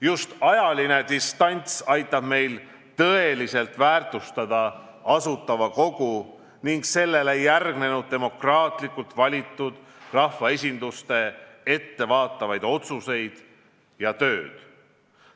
Just ajaline distants aitab meil tõeliselt väärtustada Asutava Kogu ning sellele järgnenud demokraatlikult valitud rahvaesinduste ettevaatavaid otsuseid ja tööd.